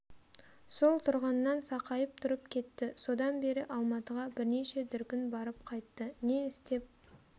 сол тұрғаннан сақайып тұрып кетті содан бері алматыға бірнеше дүркін барып қайтты не істеп